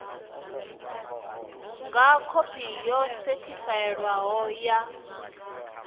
nga khophi yo sethifaiwaho ya